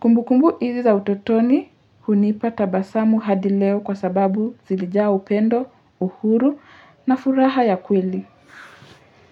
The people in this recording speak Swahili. Kumbu kumbu hizi za utotoni hunipa tabasamu hadi leo kwa sababu zilijaa upendo, uhuru na furaha ya kweli.